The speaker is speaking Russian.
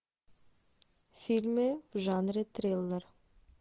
фильмы в жанре триллер